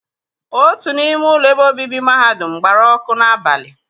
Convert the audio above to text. Otu n'ime ụlọ ebe obibi mahadum m gbara ọkụ n'abalị.